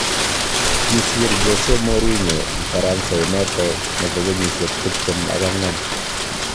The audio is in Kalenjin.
Kisiir Jose Mourinho Mfaransa inoto nebo kenyishek tiptem ak angwan